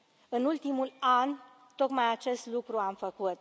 În ultimul an, tocmai acest lucru am făcut.